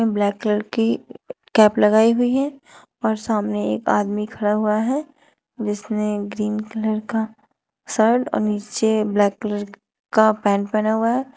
Black colour की cap लगाई हुई है और सामने एक आदमी खड़ा हुआ है जिसने ग्रीन कलर का शर्ट और नीचे ब्लैक कलर का पैंट पहना हुआ है।